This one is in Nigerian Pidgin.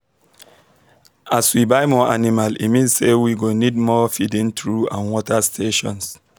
as we buy more animal e mean say we go need more feeding trough and water stations